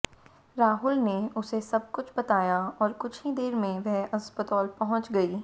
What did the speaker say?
राहुल ने उसे सब कुछ बताया और कुछ ही देर में वह अस्पताल पहंुच गई